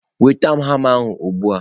nweta m hama ugbu a!.